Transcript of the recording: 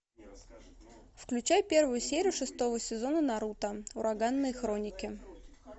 включай первую серию шестого сезона наруто ураганные хроники